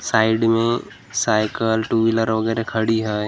Side में cycle two wheeler वगैरह खड़ी है।